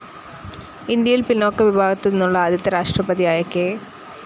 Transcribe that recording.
ഇന്ത്യയിൽ പിന്നോക്ക വിഭാഗത്തിൽ നിന്നുള്ള ആദ്യത്തെ രാഷ്ട്രപതിയായ കെ.